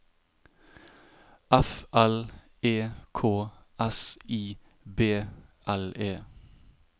F L E K S I B L E